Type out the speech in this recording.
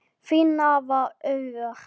Þín nafna, Auður.